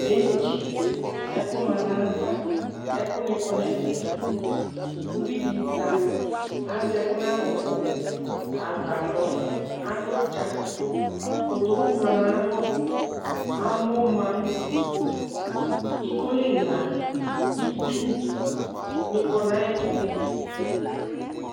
Benchɩ, ɛkʋ ma n'ayava, ɛkʋnɩ kɔ n'ɛfɛ, uvi dɩ zã, azɛ ɛkʋ n'adʋkʋ, agbadɔ, adʋ ʋdza, kotoku ma n'ay'alɔ, amɔ ma, ikoli ma, itsunɩ ma n'ayɛtʋ